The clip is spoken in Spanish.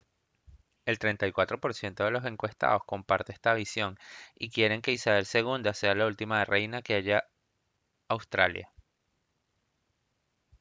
el 34 % de los encuestados comparte esta visión y quieren que isabel ii sea la última reina que haya australia